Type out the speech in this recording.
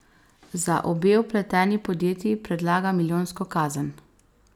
Za obe vpleteni podjetji predlaga milijonsko kazen.